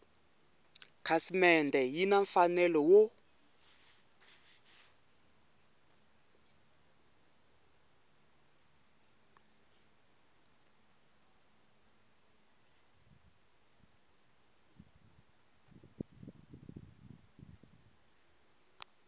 khasimende yi na mfanelo wo